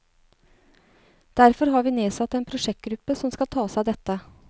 Derfor har vi nedsatt en prosjektgruppe som skal ta seg av dette.